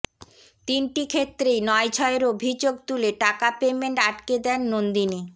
তিনটি ক্ষেত্রেই নয়ছয়ের অভিযোগ তুলে টাকা পেমেন্ট আটকে দেন নন্দিনী